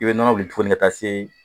I bɛ nɔnɔ wuli tuguni ka taa se